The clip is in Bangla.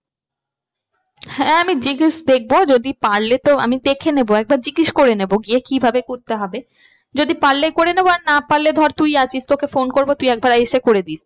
হ্যাঁ আমি দেখবো যদি পারলে তো আমি দেখে নেবো একবার জিজ্ঞেস করে নেবো গিয়ে কি ভাবে করতে হবে। যদি পারলে করে নেবো আর না পারলে ধর তুই আছিস তোকে phone করবো তুই একবার এসে করে দিস।